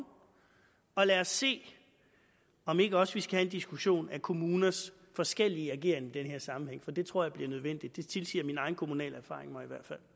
og lad os se om vi ikke også skal have en diskussion af kommuners forskellige ageren i den her sammenhæng for det tror jeg bliver nødvendigt det tilsiger min egen kommunale erfaring mig